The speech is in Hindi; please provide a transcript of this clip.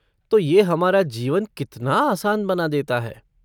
तो ये हमारा जीवन कितना आसान बना देता है।